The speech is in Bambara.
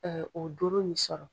O doro nin sɔrɔ.